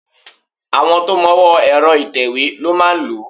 Àwọn tó mọwọ́ọ ẹ̀rọ ìtẹ̀wé ló máa lòó.